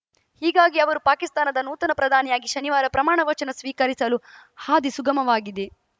ಹೀಗಾಗಿ ಅವರು ಪಾಕಿಸ್ತಾನದ ನೂತನ ಪ್ರಧಾನಿಯಾಗಿ ಶನಿವಾರ ಪ್ರಮಾಣ ವಚನ ಸ್ವೀಕರಿಸಲು ಹಾದಿ ಸುಗಮವಾಗಿದೆ